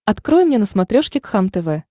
открой мне на смотрешке кхлм тв